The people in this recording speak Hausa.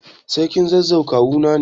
Sarkin zazzau kawuna ne.